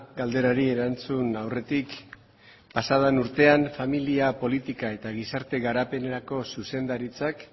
galderari erantzun aurretik pasaden urtean familia politika eta gizarte garapenerako zuzendaritzak